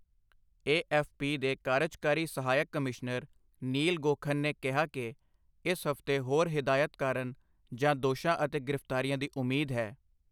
ਏ F P ਦੇ ਕਾਰਜਕਾਰੀ ਸਹਾਇਕ ਕਮਿਸ਼ਨਰ ਨੀਲ ਗੌਘਨ ਨੇ ਕਿਹਾ ਕਿ ਇਸ ਹਫ਼ਤੇ ਹੋਰ ਹਿਦਾਇਤ ਕਾਰਨ ਜਾਂ ਦੋਸ਼ਾਂ ਅਤੇ ਗ੍ਰਿਫਤਾਰੀਆਂ ਦੀ ਉਮੀਦ ਹੈ।